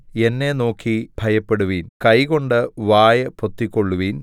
എന്നെ നോക്കി ഭയപ്പെടുവിൻ കൈകൊണ്ട് വായ് പൊത്തിക്കൊള്ളുവിൻ